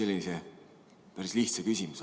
Küsin sellise päris lihtsa küsimuse.